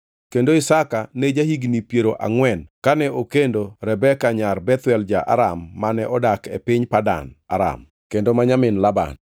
kendo Isaka ne ja-higni piero angʼwen kane okendo Rebeka nyar Bethuel ja-Aram mane odak e piny Padan Aram, kendo ma nyamin Laban.